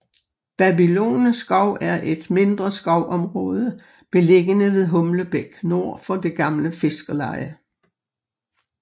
Babylone skov er et mindre skovområde beliggende ved Humlebæk nord for det gamle fiskerleje